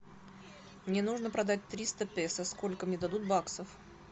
мне нужно продать триста песо сколько мне дадут баксов